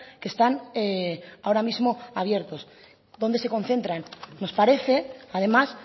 que están ahora mismo abiertos dónde se concentran nos parece además